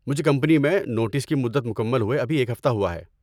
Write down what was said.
مجھے کمپنی میں نوٹس کی مدت مکمل ہوئے ابھی ایک ہفتہ ہوا ہے۔